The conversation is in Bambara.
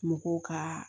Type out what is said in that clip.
Mɔgɔw ka